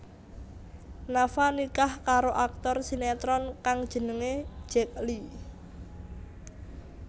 Nafa nikah karo aktor sinetron kang jenengé Zack Lee